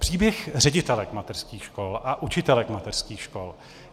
Příběh ředitelů mateřských škol a učitelek mateřských škol.